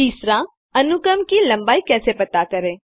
तीसरा अनुक्रम की लम्बाई कैसे पता करें